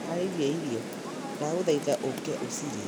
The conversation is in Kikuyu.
Ndĩhaarĩirie irio, ndagũthaitha ũka ũcirĩe